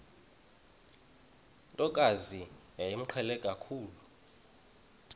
ntokazi yayimqhele kakhulu